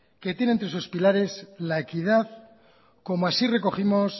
que tiene entre sus pilares la equidad como así recogimos